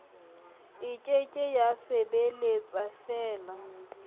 e ke ke ya sebeletsafela